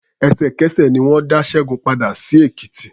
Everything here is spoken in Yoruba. Ẹ̀sẹ̀kẹsẹ̀ ni wọ́n dá Ṣẹ́gun padà sí Èkìtì.